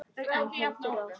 Hann heldur áfram.